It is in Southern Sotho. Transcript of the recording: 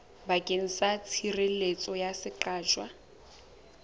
bakeng sa tshireletso ya seqatjwa